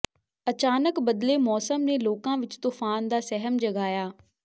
ਅਚਾਨਕ ਬਦਲੇ ਮੌਸਮ ਨੇ ਲੋਕਾਂ ਵਿਚ ਤੂਫ਼ਾਨ ਦਾ ਸਹਿਮ ਜਗਾਇਆ